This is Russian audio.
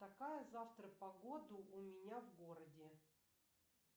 какая завтра погода у меня в городе